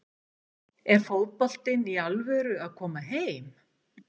Er fótboltinn í alvöru að koma heim?